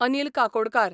Anil Kakodkar